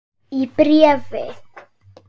Í bréfi